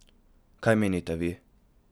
Kaj menite vi?